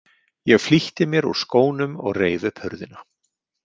Ég flýtti mér úr skónum og reif upp hurðina.